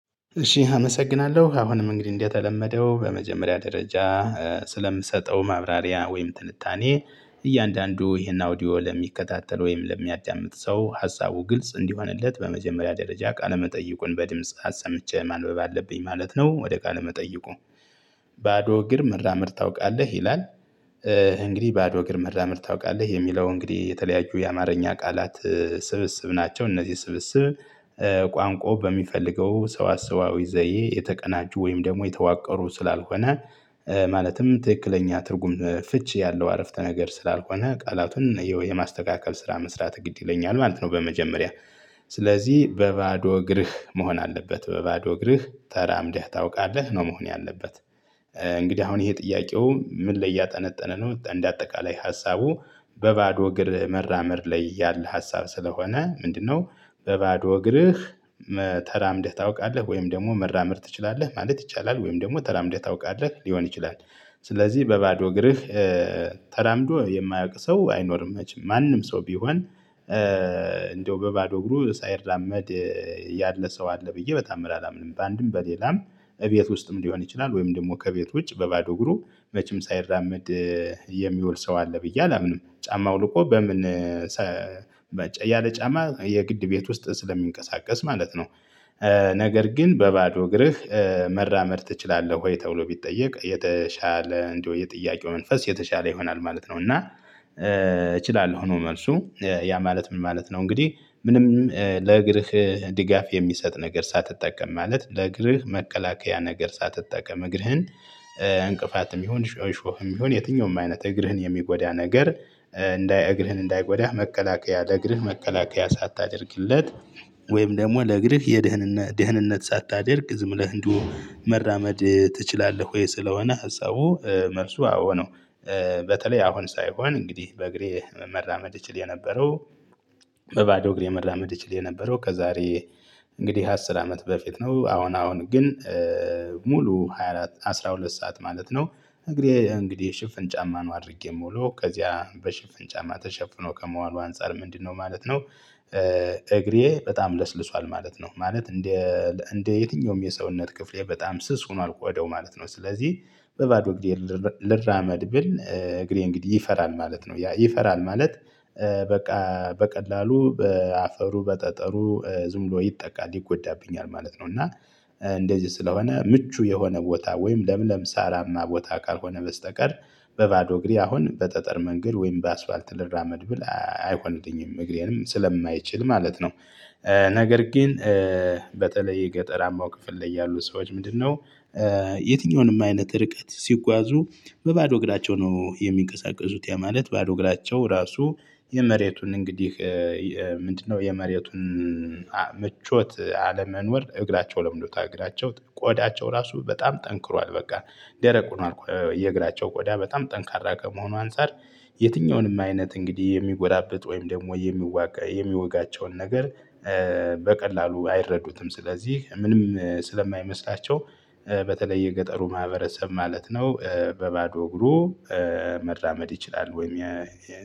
እሺ አመሰግናለሁ አሁንም እንግዲህ እንደተለመደው በመጀመሪያ ደረጃ ስለምሰጠው ማብራሪያ ወይም ትንታኔ እያንዳንዱ ይሄን አውዲዮ ለሚከታተል ወይም ለሚያዳምጥ ሰው ሀሳቡ ግልጽ እንዲሆንለት በመጀመሪያ ደረጃ ቃለ መጠይቁን በድምጽ አሰምቼ ማንበብ አለብኝ ማለት ነው። ወደ ቃለ መጠይቁ ባዶ እግር መራመድ ታውቃለህ ይላል? እንግዲህ ባዶ እግር መራመድ ታውቃለህ የሚለው እንግዲህ የተለያዩ የአማርኛ ቃላት ስብስብ ናቸው። እነዚህ ስብስብ ቋንቋው በሚፈልገው ሰዋሰዋዊ ዘዬ የተቀናጁ ወይም ደግሞ የተዋቀሩ ስላልሆነ ማለትም ትክክለኛ ትርጉም ፍቺ ያለው አረፍተ ነገር ስላልሆነ ቃላቱን የማስተካከል ስራ መስራት ግድ ይለኛል ማለት ነው። በመጀመሪያ ስለዚህ በባዶ እግርህ መሆን አለበት በባዶ እግርህ ተራምደህ ታውቃለህ ነው መሆን ያለበት? እንግዲህ አሁን ይሄ ጥያቄው ምን ላይ እያጠነጠነ ነው። እንደ አጠቃላይ ሀሳቡ በባዶ እግር መራመድ ላይ ያለ ሀሳብ ስለሆነ ምንድነው? በባዶ እግርህ መ ተራምደህ ታውቃለህ ወይም ደግሞ መራመድ ትችላለህ ማለት ይቻላል ወይም ደግሞ ተራምደህ ታውቃለህ ሊሆን ይችላል። ስለዚህ በባዶ እግርህ ተራምዶ የማያውቅ ሰው አይኖርም ማንም ሰው ቢሆን እንደው በባዶ እግሩ ሳይራመድ ያለ ሰው አለ ብዬ በታምር አላምንም። በአንድም በሌላም እቤት ውስጥም ሊሆን ይችላል ወይም ደግሞ ከቤት ውጭ በባዶ እግሩ መቼም ሳይራመድ የሚውል ሰው አለ ብዬ አላምንም። ጫማ አውልቆ በምን ያለ ጫማ የግድ ቤት ውስጥ ስለሚንቀሳቀስ ማለት ነው። ነገር ግን በባዶ እግርህ መራመድ ትችላለህ ወይ ተብሎ ቢጠየቅ የተሻለ እንደው የጥያቄው መንፈስ የተሻለ ይሆናል ማለት ነው። እና እችላለሁ ነው መልሱ ያ ማለት ምን ማለት ነው? እንግዲህ ምንም ለእግርህ ድጋፍ የሚሰጥ ነገር ሳትጠቀም ማለት ለእግርህ መከላከያ ነገር ሳትጠቀም እግርህን እንቅፋትም ይሁን እሾህም ይሁን የትኛውም አይነት እግርህን የሚጎዳ ነገር እንዳይ እግርህን እንዳይጎዳህ መከላከያ ለእግርህ መከላከያ ሳታደርግለት ወይም ደግሞ ለእግርህ የደህንነ ደህንነት ሳታደርግ ዝም ብለህ እንዲሁ መራመድ ትችላለህ ወይ ስለሆነ ሀሳቡ መልሱ አዎ ነው። በተለይ አሁን ሳይሆን እንግዲህ በእግሬ መራመድ እችል የነበረው በባዶ እግሬ መራመድ እችል የነበረው ከዛሬ እንግዲህ አስር አመት በፊት ነው። አሁን አሁን ግን ሙሉ ሃያ አራት አስራ ሁለት ሰዓት ማለት ነው እንግዲህ እንግዲህ ሽፍን ጫማ ነው አድርጌ የምውለው ከዚያ በሽፍን ጫማ ተሸፍኖ ከመዋሉ አንፃር ምንድነው ማለት ነው? እግሬ በጣም ለስልሷል ማለት ነው ማለት እንደ እንደ የትኛውም የሰውነት ክፍሌ በጣም ስስ ሆኖል ቆዳው ማለት ነው። ስለዚህ በባዶ እግሬ ልራመድ ብል እግሬ እንግዲህ ይፈራል ማለት ነው። ያ ይፈራል ማለት በቃ በቀላሉ በአፈሩ በጠጠሩ ዝም ብሎ ይጠቃል ይጎዳብኛል ማለት ነው። እና እንደዚህ ስለሆነ ምቹ የሆነ ቦታ ወይም ለምለም ሳራማ ቦታ ካልሆነ በስተቀር በባዶ እግሬ አሁን በጠጠር መንገድ ወይም በአስፋልት ልራመድ ብል አይሆንልኝም እግሬንም ስለማይችል ማለት ነው። ነገር ግን በተለይ የገጠራማው ክፍል ላይ ያሉ ሰዎች ምንድነው? የትኛውንም አይነት ርቀት ሲጓዙ በባዶ እግራቸው ነው የሚንቀሳቀሱት። ያ ማለት ባዶ እግራቸው ራሱ የመሬቱን እንግዲህ ምንድነው? የመሬቱን ምቾት አለመኖር እግራቸው ለምዶታል እግራቸው ቆዳቸው ራሱ በጣም ጠንክሯል። በቃ ደረቅ ሁኗል የእግራቸው ቆዳ በጣም ጠንካራ ከመሆኑ አንፃር። የትኛውንም አይነት እንግዲህ የሚጎራብጥ ወይም ደግሞ የሚዋጋ የሚዋጋቸውን ነገር በቀላሉ አይረዱትም። ስለዚህ ምንም ስለማይመስላቸው በተለይ የገጠሩ ማህበረሰብ ማለት ነው። በባዶ እግሩ መራመድ ይችላል። ወይም